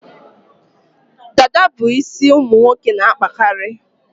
Dada bụ isi ụmụ nwoke n'akpakarị